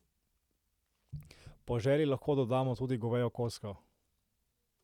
Po želji lahko dodamo tudi govejo kocko.